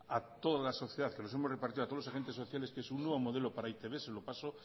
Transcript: a toda la sociedad que le hemos repartido a todos los agentes sociales que es un nuevo modelo para e i te be se lo paso